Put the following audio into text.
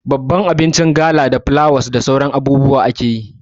Babbar abinci na gala da fulawa da sauran abubuwan haɗi akeyi